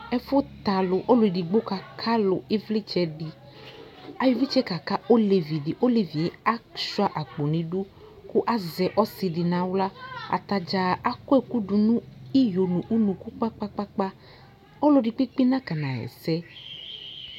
Ɛfʋ t'alʋ : olʋ edigbo kaka alʋ ɩvlɩtsɛdɩ , ayɔ ɩvlɩtsɛɛ kaka olevidɩ; olevie asʋɩa akpo n'idu kʋ azɛ ɔsɩdɩ n'aɣla Atadza akɔ ɛkʋdʋ nʋ iyo nʋ unuku kpakpakpakpa ;nɔlɔdɩ kpekpe nakɔna ɣɛsɛ